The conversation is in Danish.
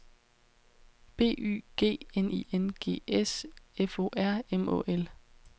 B Y G N I N G S F O R M Å L